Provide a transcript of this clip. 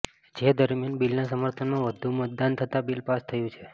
જે દરમિયાન બિલના સમર્થનમાં વધુ મતદાન થતા બિલ પાસ થયું છે